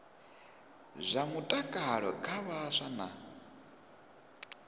zwa mutakalo kha vhaswa na